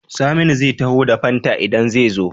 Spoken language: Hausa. Saminu zai taho da fanta idan ze zo?